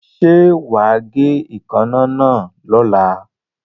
Ṣé wà á gé èékánná náà lọ́la.